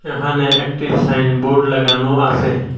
এখানে একটি সাইনবোর্ড লাগানো আসে।